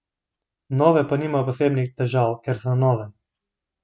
Nove pa nimajo posebnih težav, ker so nove.